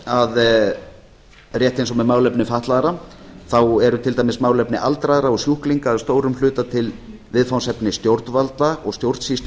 að rétt eins og með málefni fatlaðra þá eru til dæmis málefni aldraðra og sjúklinga að stórum hluta til viðfangsefni stjórnvalda og stjórnsýslu